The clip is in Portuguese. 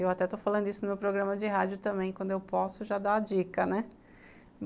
Eu até estou falando isso no meu programa de rádio também, quando eu posso já dá dica, né?